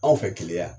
Anw fɛ keleya yan